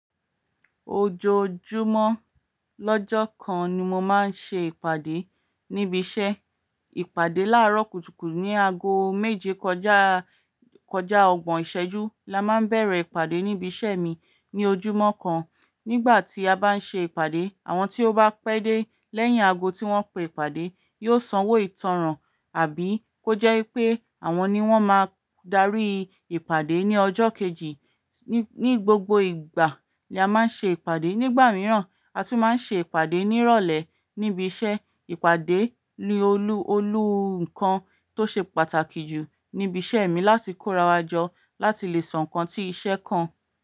Ojoojúmọ́ lọ́jọ́ kan ni mo máa ń ṣe ìpàdé níbi iṣẹ́. Ìpàdé láàárọ̀ kùtùkùtù ní ago méje kọjá, kọjá ọgbọ̀n ìṣẹ́jú la máa ń bẹ̀rẹ̀ ìpàdé níbi iṣẹ́ mi ní ojúmọ́ kan. Nígbà tí a bá ń ṣe ìpàdé, àwọn tí ó bá pẹ́ dé lẹ́yìn ago tí wọ́n pe ìpàdé yóò sanwó ìtánràn àbí kó jẹ́ wipé àwọn ni wọ́n máa darí ìpàdé ní ọjọ́ kejì. Ni gbogbo ìgbà ni a máa ń ṣe ìpàdé. Nígbà mìíràn a tún máa ń ṣe ìpàdé nírọ̀lẹ́ níbi iṣẹ́. Ìpàdé ni olú, olú nǹkan tó ṣe pàtàkì jù níbi iṣẹ́ mi láti kórawọjọ láti lè sọ nǹkan tí iṣẹ́ kan.